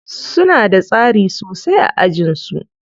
Suna da tsari sosai a ajin su.